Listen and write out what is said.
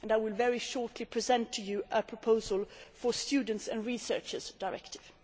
I will very shortly present to you a proposal for a students and researchers directive.